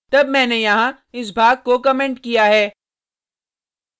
तब मैंने यहाँ इस भाग को कमेंट किया है